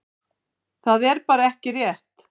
Það er bara ekki rétt.